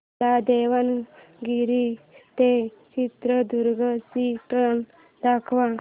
मला दावणगेरे ते चित्रदुर्ग ची ट्रेन दाखव